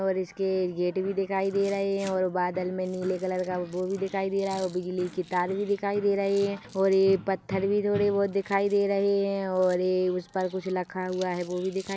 --और इसके गेट भी दिखाई दे रहे है और बादल में नीले कलर का बो भी दिखाई दे रहा है बिजली की तार भी दिखाई दे रहे है और ए पत्थर भी थोड़े बहुत दिखाई दे रहे है और एग उसपर कुछ लखा हुआ है वो भी दिखाई --